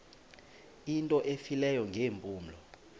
into efileyo ngeempumlo